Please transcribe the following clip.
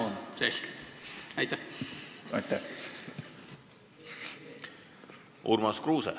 Urmas Kruuse, palun!